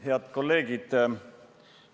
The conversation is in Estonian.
Head kolleegid!